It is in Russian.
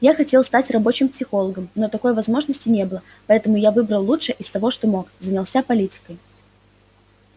я хотел стать рабочим психологом но такой возможности не было поэтому я выбрал лучшее из того что мог занялся политикой